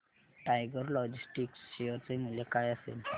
tiger Logistics share चे मूल्य काय असेल